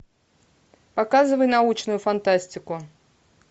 показывай научную фантастику